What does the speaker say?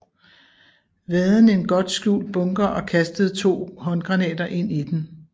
Vaden en godt skjult bunker og kastede to håndgranater ind i den